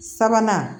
Sabanan